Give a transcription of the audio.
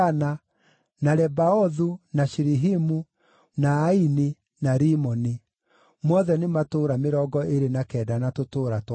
na Lebaothu, na Shilihimu, na Aini, na Rimoni; mothe nĩ matũũra mĩrongo ĩrĩ na kenda na tũtũũra twamo.